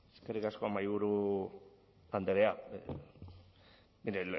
eskerrik asko mahaiburu andrea mire